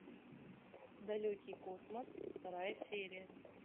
далекий космос вторая серия